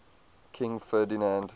king ferdinand